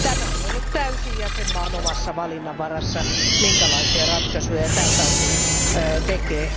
On ollut täysin jäsenmaan omassa valinnassa, minkälaisia ratkaisuja tältä osin tehdään.